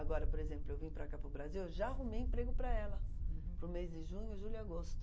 Agora, por exemplo, eu vim para cá para o Brasil, eu já arrumei emprego para ela. Uhum. Para o mês de junho, julho e agosto.